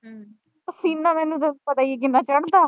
ਪਸੀਨਾ ਮੈਨੂੰ, ਤੈਨੂੰ ਪਤਾ ਈ ਐ ਕਿੰਨਾ ਚੜ੍ਹਦਾ।